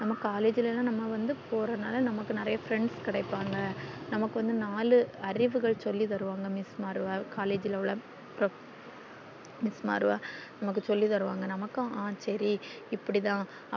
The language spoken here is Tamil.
நம்ம collage ல வந்து போறதுனால நமக்கு நெறைய friends கிடைப்பாங்க நமக்கு நாலு அறிவுகள் சொல்லி தருவாங்க miss மாறுகள் collage உள்ள profess miss மாறுகள் நமக்கு சொல்லி தருவாங்க நமக்கு அஹ் சேரி இப்படிதான்